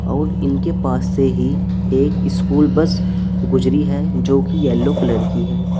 और इनके पास से ही एक स्कूल बस गुजरी है जो की येलो कलर की है।